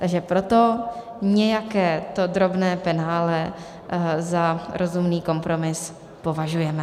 Takže proto nějaké to drobné penále za rozumný kompromis považujeme.